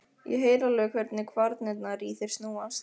Ég heyri alveg hvernig kvarnirnar í þér snúast.